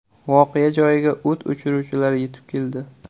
Voqea joyiga o‘t o‘chiruvchilar yetib keldi.